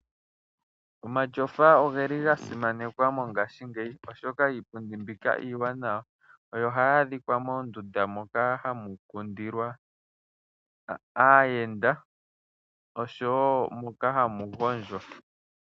Omatyofa ogeli gasimanekwa mongashingeyi oshoka iipundi mbika iiwanawa, yo ohayi adhika moondunda moka hamu kundilwa aayenda osho wo moka hamu gondjwa.